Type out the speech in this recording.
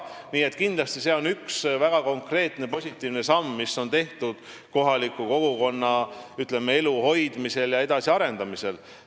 Nii et kindlasti on see üks väga konkreetne positiivne samm, mis on tehtud kohaliku kogukonna elu hoidmiseks ja edasiarendamiseks.